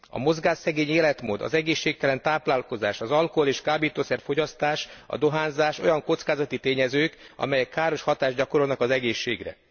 A mozgásszegény életmód, az egészségtelen táplálkozás, az alkohol és kábítószer fogyasztás, a dohányzás, olyan kockázati tényezők, amelyek káros hatást gyakorolnak az egészségre.